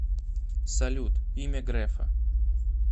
салют имя грефа